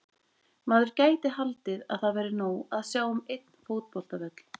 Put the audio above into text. Maður gæti haldið að það væri nóg að sjá um einn fótboltavöll.